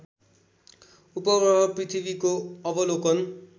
उपग्रह पृथ्वीको अवलोकन